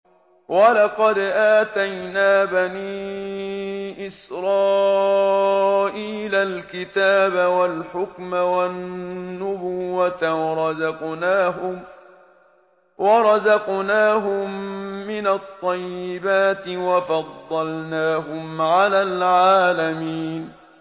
وَلَقَدْ آتَيْنَا بَنِي إِسْرَائِيلَ الْكِتَابَ وَالْحُكْمَ وَالنُّبُوَّةَ وَرَزَقْنَاهُم مِّنَ الطَّيِّبَاتِ وَفَضَّلْنَاهُمْ عَلَى الْعَالَمِينَ